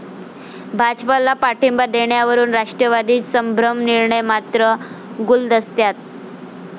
भाजपला पाठिंबा देण्यावरून राष्ट्रवादीत संभ्रम, निर्णय मात्र गुलदस्त्यात